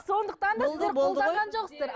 сондықтан да сіздер қолданған жоқсыздар